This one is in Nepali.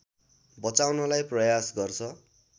बचाउनलाई प्रयास गर्छ